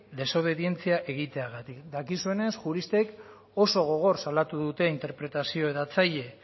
desobedientzia egiteagatik dakizuenez juristek oso gogor salatu dute interpretazio hedatzaile